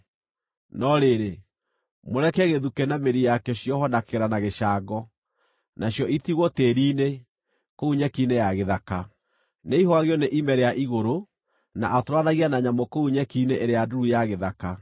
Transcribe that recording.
No rĩrĩ, mũreke gĩthukĩ na mĩri yakĩo ciohwo na kĩgera na gĩcango, nacio itigwo tĩĩri-inĩ, kũu nyeki-inĩ ya gĩthaka. “Nĩaihũgagio nĩ ime rĩa igũrũ, na atũũranagie na nyamũ kũu nyeki-inĩ ĩrĩa nduru ya gĩthaka.